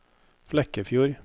Flekkefjord